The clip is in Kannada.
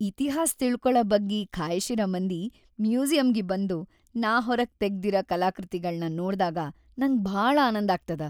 ಇತಿಹಾಸ್ ತಿಳಕೊಳ ಬಗ್ಗೆ ಖಾಯ್ಷ್‌ ಇರ ಮಂದಿ‌ ಮ್ಯೂಸಿಯಂಗಿ ಬಂದು ನಾ ಹೊರಗ್‌ ತೆಗದಿರ ಕಲಾಕೃತಿಗಳನ್ ನೋಡ್ದಾಗ ನಂಗ್ ಭಾಳ ಆನಂದ್ ಆಗ್ತದ.